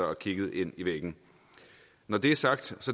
og kigget ind i væggen når det er sagt